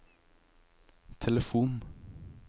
telefon